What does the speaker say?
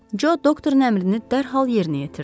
Co doktorun əmrini dərhal yerinə yetirdi.